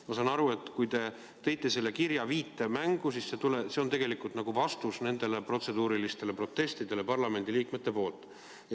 Ma saan aru, et kui te tõite selle kirja viite mängu, siis see on nagu vastus nendele protseduurilistele protestidele parlamendiliikmete poolt.